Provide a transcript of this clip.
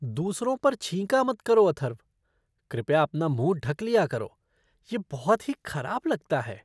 दूसरों पर छींका मत करो, अथर्व। कृपया अपना मुँह ढक लिया करो। यह बहुत ही खराब लगता है।